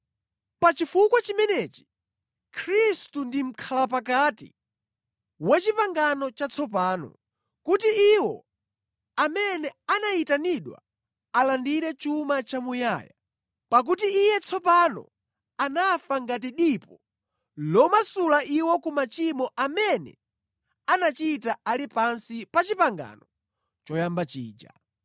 Pa chifukwa chimenechi Khristu ndi mʼkhalapakati wa pangano latsopano, kuti iwo amene anayitanidwa alandire chuma chamuyaya, pakuti Iye tsopano anafa ngati dipo lomasula iwo ku machimo amene anachita ali pansi pa pangano loyamba lija.